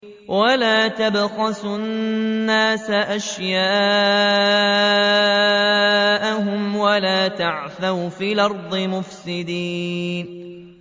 وَلَا تَبْخَسُوا النَّاسَ أَشْيَاءَهُمْ وَلَا تَعْثَوْا فِي الْأَرْضِ مُفْسِدِينَ